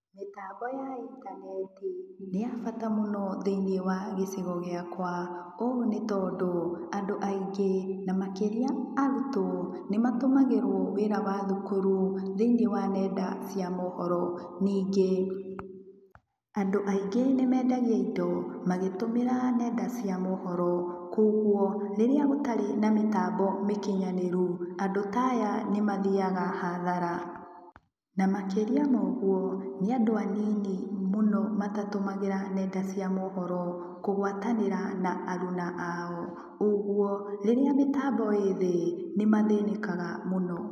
Mĩtambo ya intaneti nĩ ya bata mũno thĩiniĩ wa gĩcigo gĩakwa, ũũ nĩtondũ andũ aingĩ namakĩria arũtwo nĩmatũmagĩrwo wĩra wa thũkũrũ thĩiniĩ wa nenda cia mohoro, ningĩ andũ aingĩ nĩmendagia indo magĩtũmera nenda cia mohoro kwogũo rĩrĩa gũtarĩ na metambo mĩkinyanĩrũ andũ taya nĩmathiaga hathara, namakĩria ma ũgũo nĩ and aninyi mũno matatũmagĩra nenda cia mohoro kũgwatanĩra na arũna ao ũgũo rĩrĩa mĩtambo ĩ thĩ nĩmathĩnĩkaga mũno.